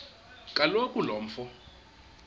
kaloku lo mfo